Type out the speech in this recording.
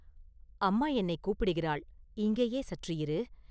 “அம்மா என்னைக் கூப்பிடுகிறாள், இங்கேயே சற்று இரு!